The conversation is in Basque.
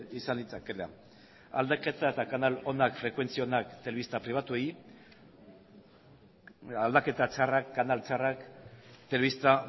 izan litzakeela aldaketa eta kanal onak frekuentzi onak telebista pribatuei aldaketa txarrak kanal txarrak telebista